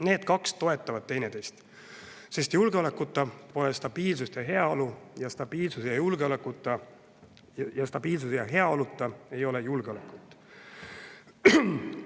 Need kaks toetavad teineteist, sest julgeolekuta pole stabiilsust ja heaolu ning stabiilsuse ja heaoluta ei ole julgeolekut.